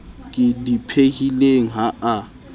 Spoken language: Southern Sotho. ke di phehileng ha a